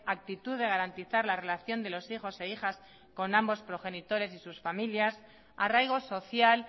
actitud de garantizar la relación de los hijos e hijas con ambos progenitores y sus familiar arraigo social